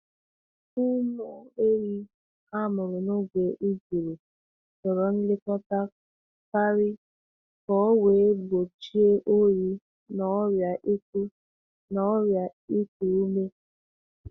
Ụmụ ehi a mụrụ n’oge uguru chọrọ nlekọta karị ka o wee gbochie oyi na ọrịa iku na ọrịa iku ume.